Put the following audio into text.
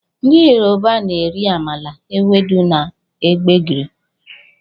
Ndị Yoruba na-eri amala, ewedu na gbegiri